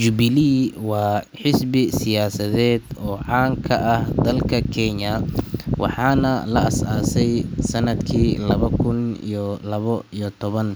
Jubilee waa xisbi siyaasadeed oo caan ka ah dalka Kenya, waxaana la aas-aasay sanadkii laba kun iyo labo iyo toban,